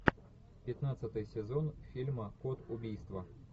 пятнадцатый сезон фильма код убийства